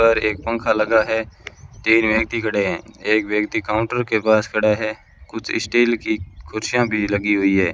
पर एक पंखा लगा है तीन व्यक्ति खड़े है एक व्यक्ति काउंटर के पास खड़ा है कुछ स्टील की कुर्सियां भी लगी हुई है।